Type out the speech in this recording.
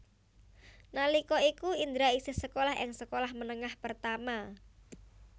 Nalika iku Indra isih sekolah ing sekolah menengah pertama